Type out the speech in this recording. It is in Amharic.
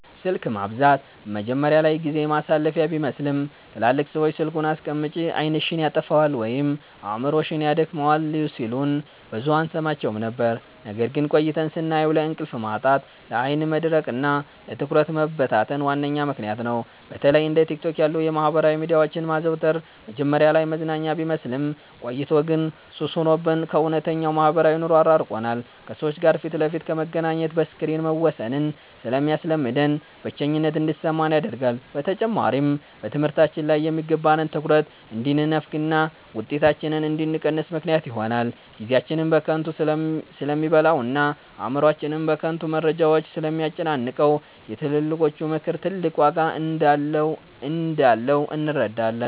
ስልክ ማብዛት መጀመሪያ ላይ ጊዜ ማሳለፊያ ቢመስልም፣ ትላልቅ ሰዎች "ስልኩን አስቀምጪ፣ ዓይንሽን ያጠፋዋል ወይም አእምሮሽን ያደክመዋል" ሲሉን ብዙም አንሰማቸውም ነበር። ነገር ግን ቆይተን ስናየው ለእንቅልፍ ማጣት፣ ለዓይን መድረቅና ለትኩረት መበታተን ዋነኛ ምክንያት ነው። በተለይ እንደ ቲክቶክ ያሉ የማህበራዊ ሚዲያዎችን ማዘውተር መጀመሪያ ላይ መዝናኛ ቢመስልም፣ ቆይቶ ግን ሱስ ሆኖብን ከእውነተኛው ማህበራዊ ኑሮ አራርቆናል። ከሰዎች ጋር ፊት ለፊት ከመገናኘት በስክሪን መወሰንን ስለሚያስለምደን፣ ብቸኝነት እንዲሰማን ያደርጋል። በተጨማሪም በትምህርታችን ላይ የሚገባንን ትኩረት እንድንነፈግና ውጤታችን እንዲቀንስ ምክንያት ይሆናል። ጊዜያችንን በከንቱ ስለሚበላውና አእምሮአችንን በከንቱ መረጃዎች ስለሚያጨናንቀው፣ የትልቆቹ ምክር ትልቅ ዋጋ እንዳለው እንረዳለን።